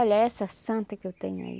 Olha, essa santa que eu tenho aí.